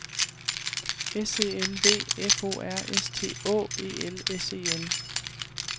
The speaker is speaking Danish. S E L V F O R S T Å E L S E N